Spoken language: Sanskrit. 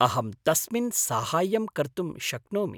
अहं तस्मिन् साहाय्यं कर्तुं शक्नोमि।